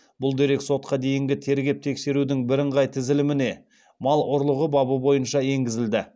бұл дерек сотқа дейінгі тергеп тексерудің бірыңғай тізіліміне мал ұрлығы бабы бойынша енгізілді